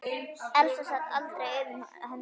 Elsa sat aldrei auðum höndum.